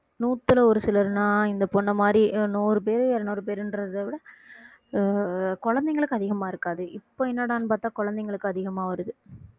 நூத்துல ஒரு சிலர்னா இந்த பொண்ணை மாதிரி அஹ் நூறு பேரு இருநூறு பேருன்றதைவிட அஹ் குழந்தைங்களுக்கு அதிகமா இருக்காது இப்ப என்னடான்னு பார்த்தா குழந்தைங்களுக்கு அதிகமா வருது